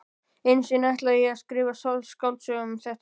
Einu sinni ætlaði ég að skrifa skáldsögu um þetta efni.